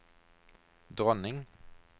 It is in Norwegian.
dronning